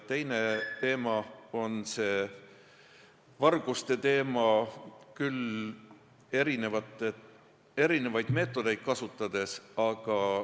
Teine probleem on vargused erinevaid meetodeid kasutades.